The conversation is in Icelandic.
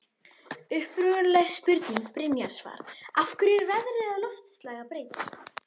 Upprunaleg spurning Brynjars var: Af hverju er veðrið og loftslag að breytast?